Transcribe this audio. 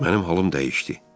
Mənim halım dəyişdi.